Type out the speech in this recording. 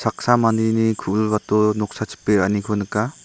saksa mandeni ku·bilbato noksa chipe ra·aniko nika.